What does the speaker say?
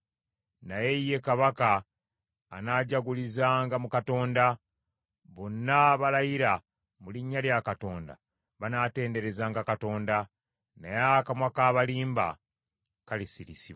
Naye ye kabaka anaajagulizanga mu Katonda; bonna abalayira mu linnya lya Katonda banaatenderezanga Katonda, naye akamwa k’abalimba kalisirisibwa.